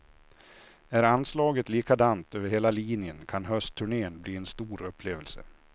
Är anslaget likadant över hela linjen kan höstturnén bli en stor upplevelse.